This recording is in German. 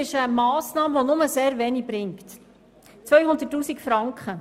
Diese Massnahme bringt nur sehr wenig für den Betrag von 200 000 Franken.